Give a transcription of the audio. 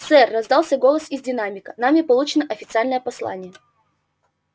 сэр раздался голос из динамика нами получено официальное послание